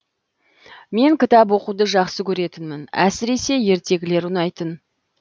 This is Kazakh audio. мен кітап оқуды жақсы көретінмін әсіресе ертегілер ұнайтын